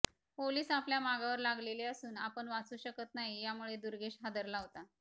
police आपल्या मागावर लागले असून आपण वाचू शकत नाही यामुळे दुर्गेश हादरला होता